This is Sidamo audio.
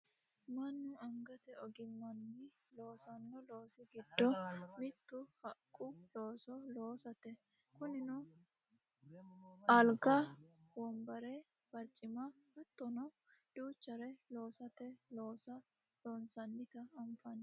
Mannu angate ogimmanni loosanno loosi giddo mittu haqqu looso loosate kunino alga wonbare barcima hattono duuchare loosate looso loosannota anfanni